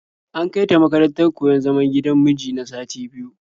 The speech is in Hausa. An kai ta makarantar koyon zaman gidan miji na sati biyu.